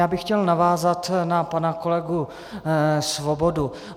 Já bych chtěl navázat na pana kolegu Svobodu.